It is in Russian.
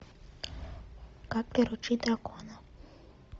как приручить дракона